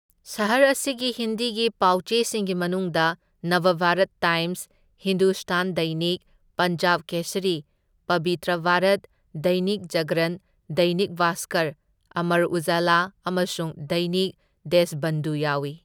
ꯁꯍꯔ ꯑꯁꯤꯒꯤ ꯍꯤꯟꯗꯤꯒꯤ ꯄꯥꯎ ꯆꯦꯁꯤꯡꯒꯤ ꯃꯅꯨꯡꯗ ꯅꯕꯚꯥꯔꯠ ꯇꯥꯏꯝꯁ, ꯍꯤꯟꯗꯨꯁꯇꯥꯟ ꯗꯩꯅꯤꯛ, ꯄꯟꯖꯥꯕ ꯀꯦꯁꯔꯤ, ꯄꯕꯤꯇ꯭ꯔ ꯚꯥꯔꯠ, ꯗꯩꯅꯤꯛ ꯖꯥꯒ꯭ꯔꯟ, ꯗꯩꯅꯤꯛ ꯚꯥꯁꯀꯔ, ꯑꯃꯔ ꯎꯖꯥꯂꯥ ꯑꯃꯁꯨꯡ ꯗꯩꯅꯤꯛ ꯗꯦꯁꯕꯟꯙꯨ ꯌꯥꯎꯢ꯫